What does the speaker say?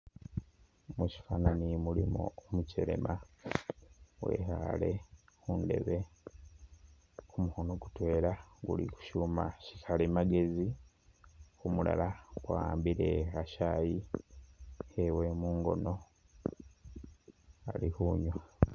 Mushifani mulimo umukyelema wekhale khundeebe, kumukhono mutwela kuli khushuma shallimagezi kumulala kwa'ambile khachayi khewe mungono alikhunywa